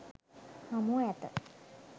හමුව ඇත.